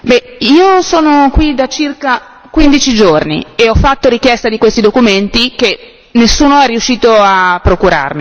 Io sono qui da circa quindici giorni e ho fatto richiesta di questi documenti che nessuno è riuscito a procurarmi. Quando si arriva così avanti nelle trattative, che cos'è che dobbiamo ancora aspettare?